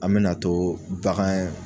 An bɛ na too bagan yɛ